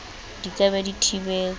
di ka be di thibetswe